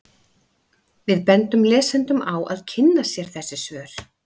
Við bendum lesendum á að kynna sér þessi svör.